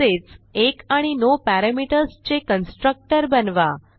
तसेच 1 आणि no parameters चे कन्स्ट्रक्टर बनवा